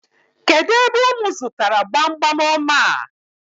Kedụ ebe unu zụtara gbamgbam ọma a?